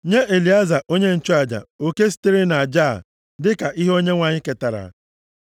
Nye Elieza onye nchụaja oke sitere nʼaja a dịka ihe Onyenwe anyị ketara.